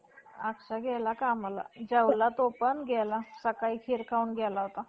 त्याचे पालन-पोषण करू लागते. परंतु डुकरीण कुत्रीसारखे प्रथम आपल्या अं जन्म दिलेल्या बच्यास एकदम,